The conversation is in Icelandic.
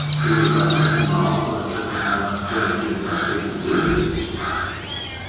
Er Sigurður Ragnar búinn að ákveða hvernig hann kemur til með stilla upp liðinu?